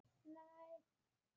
Það er verk að vinna.